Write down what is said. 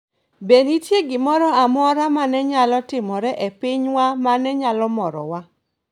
Be nitie gimoro amora ma ne nyalo timore e pinywa ma ne nyalo morowa?